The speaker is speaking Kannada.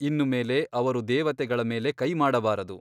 ಇನ್ನು ಮೇಲೆ ಅವರು ದೇವತೆಗಳ ಮೇಲೆ ಕೈ ಮಾಡಬಾರದು.